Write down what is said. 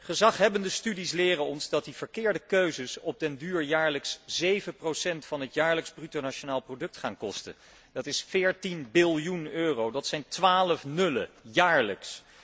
Gezaghebbende studies leren ons dat die verkeerde keuzes op den duur jaarlijks 7 procent van het jaarlijks bruto nationaal product kosten dat is 14 biljoen euro, dat zijn twaalf nullen, jaarlijks!